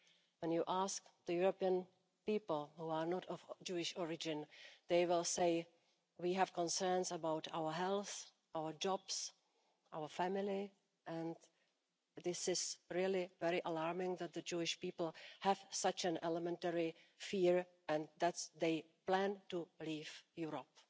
When you ask the European people who are not of Jewish origin, they will say we have concerns about our health, our jobs, our family'. And this is really very alarming that the Jewish people have such an elementary fear and that they plan to leave Europe.